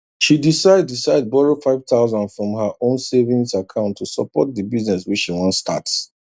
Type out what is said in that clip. she decide decide borrow 5000 from her own savings account to support the business wey she wan start